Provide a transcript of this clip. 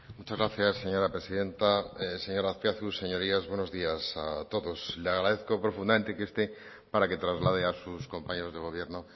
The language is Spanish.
muchas gracias señora presidenta señor azpiazu señorías buenos días a todos le agradezco profundamente que esté para que traslade a sus compañeros de gobierno